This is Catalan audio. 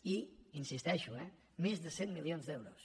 i hi insisteixo eh més de cent milions d’euros